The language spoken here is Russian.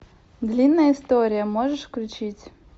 длинная история можешь включить